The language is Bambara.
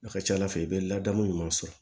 A ka ca ala fɛ i bɛ ladamu ɲuman sɔrɔ